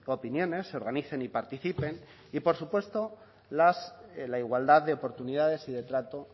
opiniones se organicen y participen y por supuesto la igualdad de oportunidades y de trato